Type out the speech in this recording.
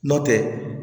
Nɔntɛ